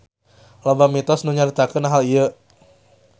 Loba mitos nu nyaritakeun hal ieu.